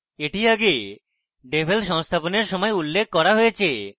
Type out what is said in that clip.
এটি আগে devel সংস্থাপনের সময় উল্লেখ করা হয়েছে